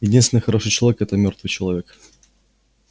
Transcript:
единственный хороший человек это мёртвый человек